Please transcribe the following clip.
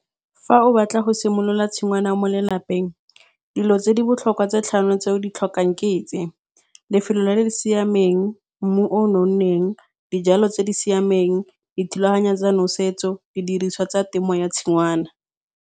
Fa o batla go simolola tshingwana mo lelapeng, dilo tse di botlhokwa tse tlhano tse o di tlhokang ke tse, lefelo le le siameng, mmu o nonneng, dijalo tse di siameng, dithulaganyo tsa nosetso, le didiriswa tsa temo ya tshingwana.